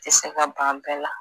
I se ka ban bɛɛ la